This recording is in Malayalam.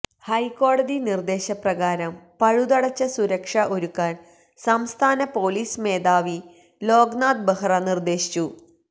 ഹൈക്കോടതി നിര്ദേശപ്രകാരം പഴുതടച്ച സുരക്ഷ ഒരുക്കാന് സംസ്ഥാന പൊലിസ് മേധാവി ലോക്നാഥ് ബഹ്റ നിര്ദേശിച്ചു